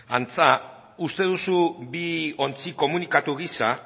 antza uste duzu bi ontzi komunikatu gisa